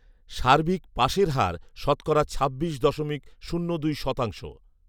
সার্বিক পাসের হার শতকরা ছাব্বিশ দশমিক শূন্য দুই শতাংশ